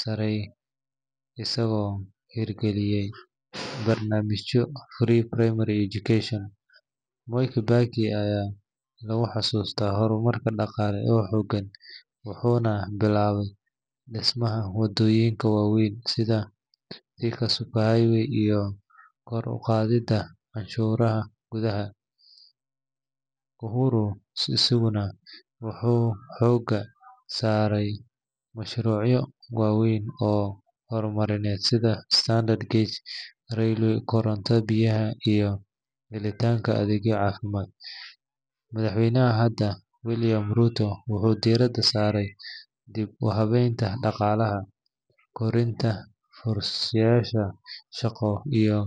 sare isigo hirgaliye barnamijo Free Primary Education Mwai kibaki aya lagu xasusta hormarka daqaale oo hogaan wuxuna bilawe dismaaha waadonika kuwa waweyn sidha Thinka Highway kor uqaadida canshuraha gudaha Uhuru isaguna wuxu hoga sare mashrucyo waweyn sidhaa koronto biyaha iyo heli tanka adeegyo cafimad madaxweynaha hada William Ruto wuxu diraada sare dib uxawenta daqalah korinta fursadaha shaqo iyo.